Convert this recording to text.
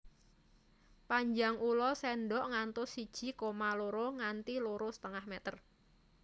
Panjang ula sendok ngantos siji koma loro nganti loro setengah meter